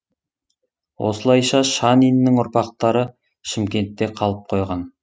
осылайша шаниннің ұрпақтары шымкентте қалып қойған